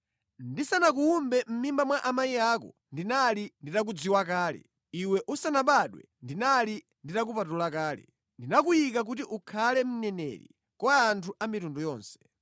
“Ndisanakuwumbe mʼmimba mwa amayi ako ndinali nditakudziwa kale, iwe usanabadwe ndinali nditakupatula kale; ndinakuyika kuti ukhale mneneri kwa anthu a mitundu yonse.”